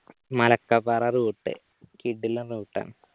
മലക്കകാറ route കിടിലൻ route ആണ്